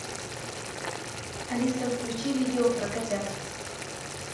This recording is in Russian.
алиса включи видео про котят